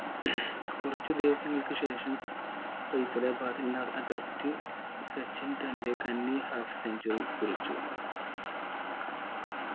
കുറച്ചു ദിവസങ്ങൾക്കു ശേഷം ഫൈസലാബാദിൽ നടന്ന test സെക്കൻ തന്റെ കഞ്ഞി half centuary കുറിച്ചു